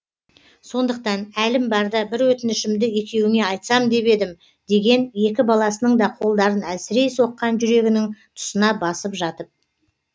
сондықтан әлім барда бір өтінішімді екеуіңе айтсам деп едім деген екі баласының да қолдарын әлсірей соққан жүрегінің тұсына басып жатып